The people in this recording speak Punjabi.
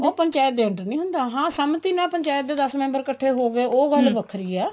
ਉਹ ਪੰਚਾਇਤ ਦੇ under ਨਹੀਂ ਹੁੰਦਾ ਹਾਂ ਸੰਮਤੀ ਨਾਲ ਪੰਚਾਇਤ ਦੇ ਦੱਸ member ਇੱਕਠੇ ਹੋਗੇ ਉਹ ਗੱਲ ਵੱਖਰੀ ਹੈ